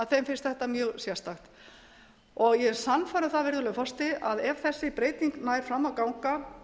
þeim finnst þetta mjög sérstakt ég er sannfærð um virðulegi forseti að ef þessi breyting nær fram að ganga